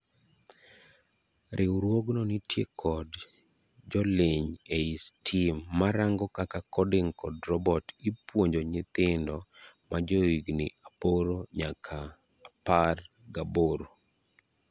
Riwrougno nitie kod joliny ei STEAM marango kaka coding kod robot ipuonjo nyithindo majohigni aboro nyaka apar gaboro.